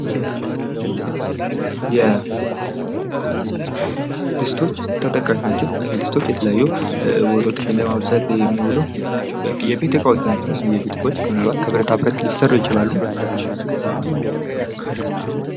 ድስቶች ተጠቃሽ ናቸው እነዚህ ድስቶች ውጦችን ለማብሰል የሚውሉ የቤት እቃዎች ናቸው። እነዚህ የቤት እቃዎች ምን አልባት ከብረታ ብረት ሊሰሩ ይችላሉ።